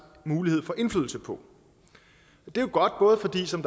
mulighed for indflydelse på det er godt både fordi som